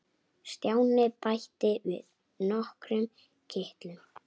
Stjáni bætti við nokkrum kitlum.